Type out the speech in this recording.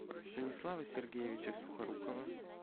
станислава сергеевича сухорукова